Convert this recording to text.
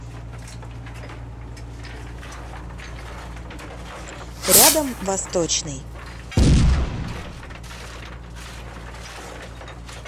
рядом восточный